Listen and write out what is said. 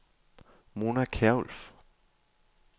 Mona Kjærulff